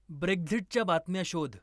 Brexit च्या बातम्या शोध